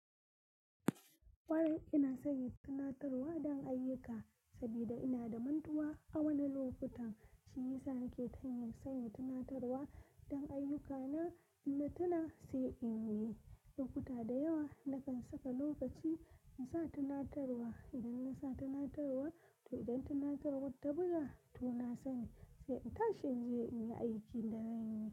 Wai, ina sanya tunatarwa don ayyuka saboda ina da mantuwa a wani lokutan. Shi yasa nake tanye sanya tunatarwa don ayyukana inna tuna sai in yi. Lokuta da yawa na kan saka lokaci in sa tunatarwa, idan na sa tunatarwa, to idan tunatarwar ta buga to na sani, sai in tashi in je in yi aikin da zan yi.